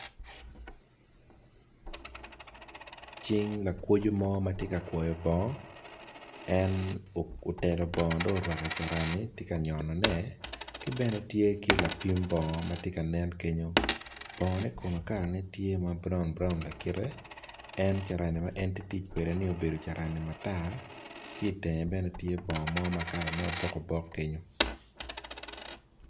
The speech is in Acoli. Cing lakwo bongo mo ma otelo bongo dong tye ka kwoyone ki bne tye ki lapim bongo ma tye kenyu bongone kalane tye ma braun en tye ka tic ki carani matar dongo bong moni tye obok obok